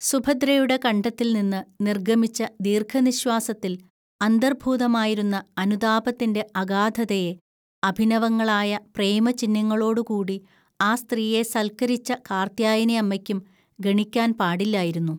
സുഭദ്രയുടെ കണ്ഠത്തിൽനിന്ന് നിർഗ്ഗമിച്ച ദീർഘനിശ്വാസത്തിൽ അന്തർഭൂതമായിരുന്ന അനുതാപത്തിന്റെ അഗാധതയെ, അഭിനവങ്ങളായ പ്രേമചിഹ്നങ്ങളോടുകൂടി ആ സ്ത്രീയെ സൽക്കരിച്ച കാർത്യായനിഅമ്മയ്ക്കും ഗണിക്കാൻ പാടില്ലായിരുന്നു